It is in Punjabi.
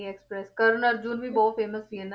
Express ਕਰਨ ਅਰੁਜੁਨ ਵੀ ਬਹੁਤ famous ਸੀ